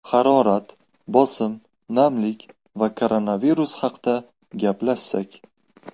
Harorat, bosim, namlik va koronavirus haqida gaplashsak.